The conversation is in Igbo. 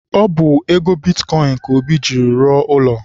Ọ bụ ego bitkọịn ka Obi jiiri rụọ ụlọ.